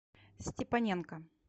степаненко